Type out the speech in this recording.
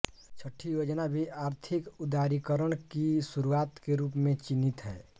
छठी योजना भी आर्थिक उदारीकरण की शुरुआत के रूप में चिह्नित हैं